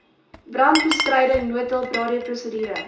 brandbestryding noodhulp radioprosedure